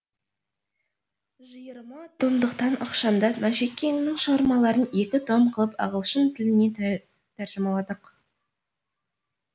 жиырма томдықтан ықшамдап мәшекеңнің шығармаларын екі том қылып ағылшын тіліне тәржімаладық